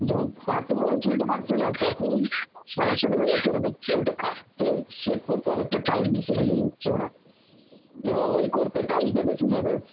যখন এত বড় চুলটা থাকছে না তখন সমস্যাটা হয়ে যাচ্ছে ওদের চুলটা কাটতে shape করতে অনেক টা time বেশি নিয়ে নিচ্ছে ওরা, এবার ওই করতে time টা বেশি নেবে